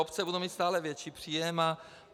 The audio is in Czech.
Obce budou míst stále větší příjem.